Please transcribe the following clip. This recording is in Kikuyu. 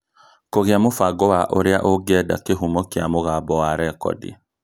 kũgĩa mũbango wa ũrĩa ũngĩenda kĩhumo kĩa mũgambo wa rekodi